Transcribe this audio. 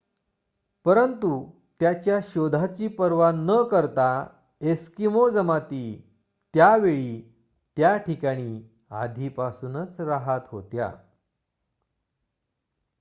परंतु त्याच्या शोधाची पर्वा न करता एस्किमो जमाती त्या वेळी त्या ठिकाणी आधीपासूनच राहत होत्या